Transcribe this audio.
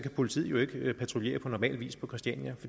politiet jo ikke patruljere på normal vis på christiania